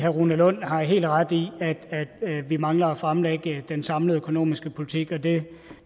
rune lund har helt ret i at vi mangler at fremlægge den samlede økonomiske politik og det